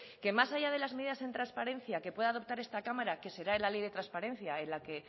que más allá de las medidas en transparencia que pueda adoptar esta cámara que será en la ley de transparencia en la que